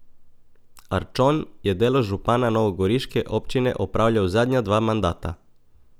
Arčon je delo župana novogoriške občine opravljal zadnja dva mandata.